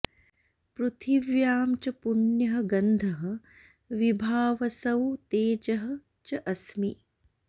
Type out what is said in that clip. पृथिव्यां च पुण्यः गन्धः विभावसौ तेजः च अस्मि